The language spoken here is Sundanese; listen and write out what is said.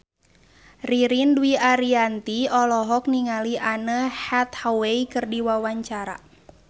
Ririn Dwi Ariyanti olohok ningali Anne Hathaway keur diwawancara